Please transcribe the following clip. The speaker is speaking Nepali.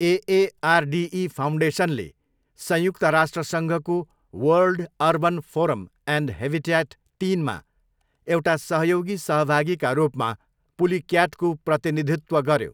एएआरडिई फाउन्डेसनले संयुक्त राष्ट्रसङ्घको World Urban Forum and Habitat तिनमा एउटा सहयोगी सहभागीका रूपमा पुलिक्याटको प्रतिनिधित्व गऱ्यो।